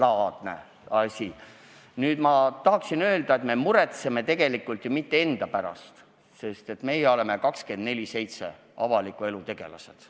Aga ma tahan öelda, et me ei muretse tegelikult ju mitte enda pärast, kes me oleme 24/7 avaliku elu tegelased.